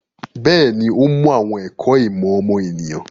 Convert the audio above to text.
Bẹ́ẹ̀ni, ó mú àwọn ẹ̀kọ́ ìmọ̀ ọmọnìyàn.